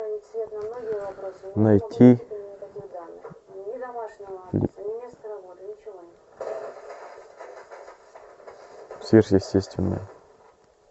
найти сверхъестественное